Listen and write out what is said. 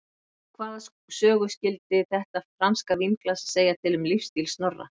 Og hvaða sögu skyldi þetta franska vínglas segja um lífsstíl Snorra?